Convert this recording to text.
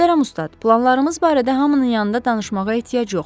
Möhtərəm ustad, planlarımız barədə hamının yanında danışmağa ehtiyac yoxdur.